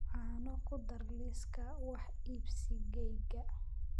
caano ku dar liiska wax iibsigayga